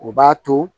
O b'a to